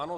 Ano.